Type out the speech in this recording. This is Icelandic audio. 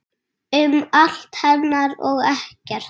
Um allt hennar og ekkert.